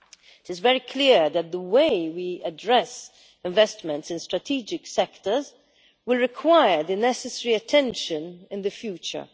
It is very clear that the way we address investments in strategic sectors will require necessary attention in the future.